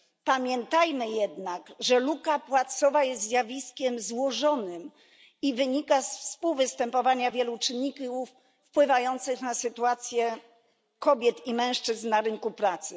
Pamiętajmy jednak, że luka płacowa jest zjawiskiem złożonym i wynika z współwystępowania wielu czynników wpływających na sytuację kobiet i mężczyzn na rynku pracy.